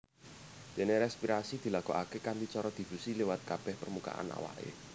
Déné respirasi dilakokaké kanthi cara difusi liwat kabèh permukaan awaké